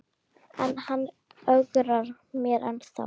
En hann ögrar mér ennþá.